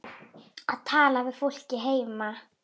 Að tala við fólkið heima.